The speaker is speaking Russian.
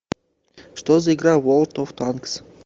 что за игра ворлд оф танкс